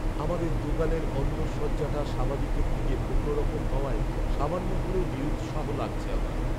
আমাদের দোকানের অন্দরসজ্জাটা স্বাভাবিকের থেকে অন্যরকম হওয়ায় সামান্য হলেও নিরুৎসাহ লাগছে আমার।